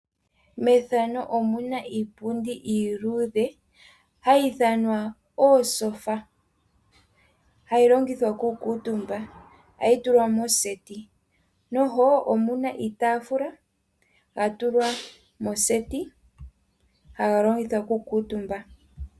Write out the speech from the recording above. Iipundi iiludhe hayi ithanwa omatyofa ohayi longithwa oku kuuntumbwa. Ohayi tulwa mooseti mo omuna iitafula hayi longithwa oku kuuntumbwa.